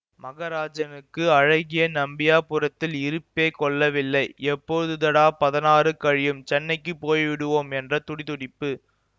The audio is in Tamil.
மகராஜனுக்கு அழகிய நம்பியாபுரத்தில் இருப்பே கொள்ளவில்லை எப்பொழுதடா பதினாறு கழியும் சென்னைக்கு போய் விடுவோம் என்ற துடிதுடிப்பு